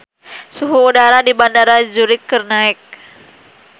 Suhu udara di Bandara Zurich keur naek